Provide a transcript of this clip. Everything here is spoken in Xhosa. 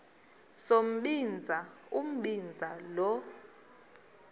sombinza umbinza lo